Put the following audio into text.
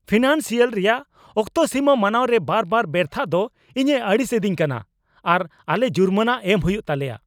Financial ᱨᱮᱭᱟᱜ ᱚᱠᱛᱚ ᱥᱤᱢᱟᱹ ᱢᱟᱱᱟᱣ ᱨᱮ ᱵᱟᱨᱵᱟᱨ ᱵᱮᱨᱛᱷᱟᱜ ᱫᱚ ᱤᱧᱮ ᱟᱹᱲᱤᱥ ᱮᱫᱤᱧ ᱠᱟᱱᱟ ᱟᱨ ᱟᱞᱮ ᱡᱩᱨᱢᱟᱱᱟ ᱮᱢ ᱦᱩᱭᱩ ᱛᱟᱞᱮᱭᱟ ᱾